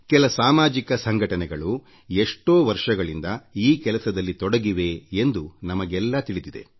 ಕೆಲ ಸಾಮಾಜಿಕ ಸಂಘಟನೆಗಳು ಎಷ್ಟೋ ವರ್ಷಗಳಿಂದ ಈ ಕೆಲಸದಲ್ಲಿ ತೊಡಗಿವೆ ಎಂದು ನಮಗೆಲ್ಲ ತಿಳಿದಿದೆ